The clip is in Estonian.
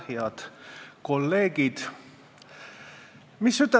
Head kolleegid!